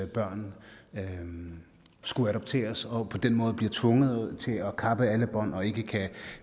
børn skulle adopteres og på den måde blive tvunget til at kappe alle bånd og ikke